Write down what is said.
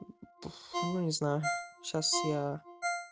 пфф ну не знаю сейчас я